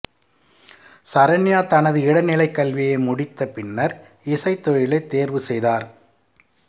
சரண்யா தனது இடைநிலைக் கல்வியை முடித்த பின்னர் இசைத் தொழிலைத் தேர்வுசெய்தார்